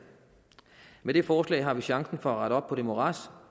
med dette forslag har vi chancen for at rette op på det morads